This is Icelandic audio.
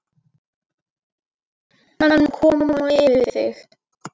Og hann mun koma yfir þig!